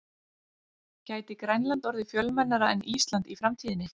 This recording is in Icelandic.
Gæti Grænland orðið fjölmennara en Ísland í framtíðinni?